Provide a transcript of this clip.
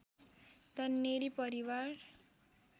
तन्नेरी परिवार